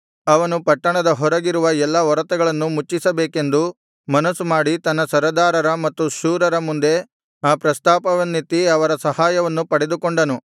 ಅವನು ಪಟ್ಟಣದ ಹೊರಗಿರುವ ಎಲ್ಲಾ ಒರತೆಗಳನ್ನು ಮುಚ್ಚಿಸಬೇಕೆಂದು ಮನಸ್ಸು ಮಾಡಿ ತನ್ನ ಸರದಾರರ ಮತ್ತು ಶೂರರ ಮುಂದೆ ಆ ಪ್ರಸ್ತಾಪವನ್ನೆತ್ತಿ ಅವರ ಸಹಾಯವನ್ನು ಪಡೆದುಕೊಂಡನು